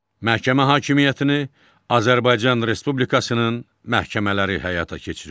Məhkəmə hakimiyyətini Azərbaycan Respublikasının məhkəmələri həyata keçirir.